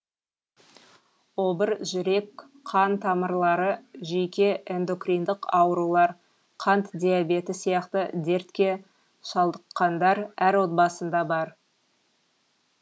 обыр жүрек қан тамырлары жүйке эндокриндік аурулар қант диабеті сияқты дертке шалдыққандар әр отбасында бар